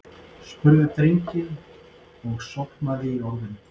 spurði drengurinn og sofnaði í orðinu.